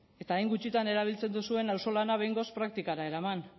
eta hain gutxitan erabiltzen duzuen auzolana behingoz praktikara eraman